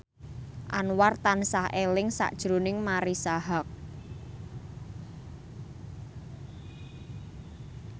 Anwar tansah eling sakjroning Marisa Haque